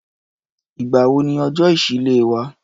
Ìgbà wo ni ọjọ́ ìṣísílẹ̀ wà?